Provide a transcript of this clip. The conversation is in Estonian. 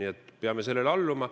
Me peame sellele alluma.